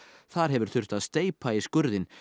þar hefur þurft að steypa í skurðinn